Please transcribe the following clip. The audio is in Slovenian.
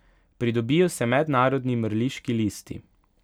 Pridobijo se mednarodni mrliški listi.